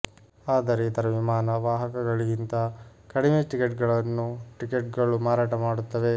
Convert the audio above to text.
ಆದರೆ ಇತರ ವಿಮಾನ ವಾಹಕಗಳಿಗಿಂತ ಕಡಿಮೆ ಟಿಕೆಟ್ಗಳನ್ನು ಟಿಕೆಟ್ಗಳು ಮಾರಾಟ ಮಾಡುತ್ತವೆ